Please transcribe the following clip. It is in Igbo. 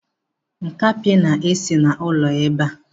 Nkapi esi n'ụlọ ebe a.